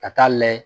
Ka taa layɛ